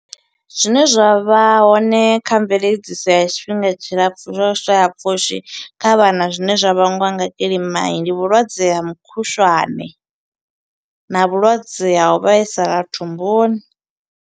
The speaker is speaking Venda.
Zwine zwa vha hone kha mveledziso ya tshifhinga tshilapfu zwo shaya pfushi kha vhana zwine zwa vhangwa nga kilima. Ndi vhulwadze ha mukhushwane, na vhulwadze ha u vhaisala thumbuni.